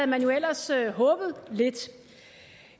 man jo ellers håbet lidt